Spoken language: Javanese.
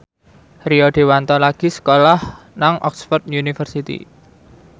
Rio Dewanto lagi sekolah nang Oxford university